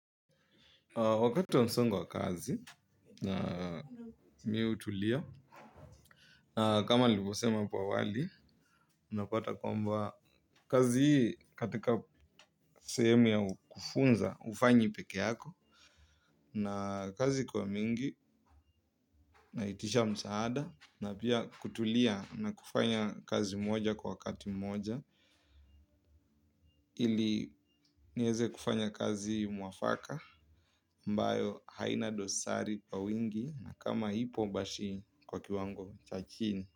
Wakati wa msongo wa kazi, mi utulia, na kama libo sema hapo wali, unapata kwamba kazi hii katika sehemu ya kufunza, ufanyi peke yako, na kazi ukuwa mingi, nahitisha msaada, na pia kutulia na kufanya kazi moja kwa wakati moja. Ili nieze kufanya kazi mwafaka mbayo haina dosari kwa wingi na kama hipo bashi kwa kiwango cha chini.